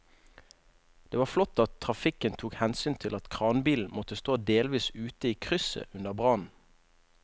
Det var flott at trafikken tok hensyn til at kranbilen måtte stå delvis ute i krysset under brannen.